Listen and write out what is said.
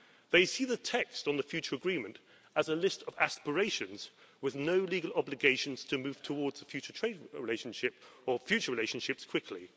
They see the text on the future agreement as a list of aspirations, with no legal obligations to move towards a future trade relationship or future relationships quickly.